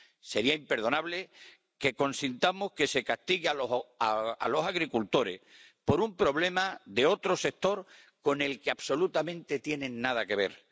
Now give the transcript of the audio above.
Sería imperdonable que consintamos que se castigue a los agricultores por un problema de otro sector con el que absolutamente nada tienen que ver.